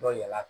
Dɔ yɛlɛla